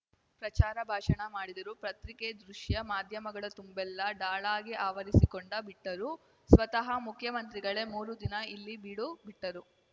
ಪ್ರಚಾರ ಭಾಷಣ ಮಾಡಿದರು ಪ್ರತ್ರಿಕೆ ದೃಶ್ಯ ಮಾಧ್ಯಮಗಳ ತುಂಬೆಲ್ಲ ಢಾಳಾಗಿ ಆವರಿಸಿಕೊಂಡ ಬಿಟ್ಟರು ಸ್ವತಃ ಮುಖ್ಯಮಂತ್ರಿಗಳೇ ಮೂರು ದಿನ ಇಲ್ಲಿ ಬೀಡು ಬಿಟ್ಟರು